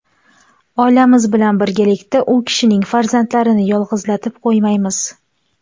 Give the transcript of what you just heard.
Oilamiz bilan birgalikda u kishining farzandlarini yolg‘izlatib qo‘ymaymiz.